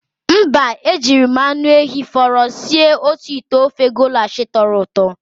Mba, e jiri m anụ ehi fọrọ sie otu ite ofe golash tọrọ ụtọ.